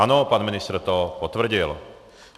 Ano, pan ministr to potvrdil.